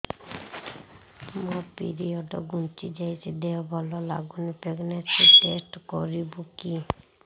ମୋ ପିରିଅଡ଼ ଘୁଞ୍ଚି ଯାଇଛି ଦେହ ଭଲ ଲାଗୁନି ପ୍ରେଗ୍ନନ୍ସି ଟେଷ୍ଟ କରିବୁ କି